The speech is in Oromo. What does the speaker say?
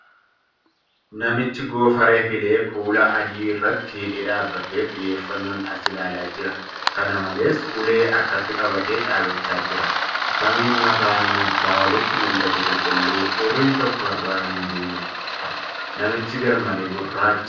Namichi goofaree filee kuula adii irratti hidhee dhaabbatee xiyyeeffannoon as ilaalaa jira. Kana malees, ulee harkatti qabatee dhaabbachaa jira. Samiin mataa namichaa olitti mul'atu qulqulluu. hurriin tokko irra hin buuneedha. Namtichi garmalee gurraacha.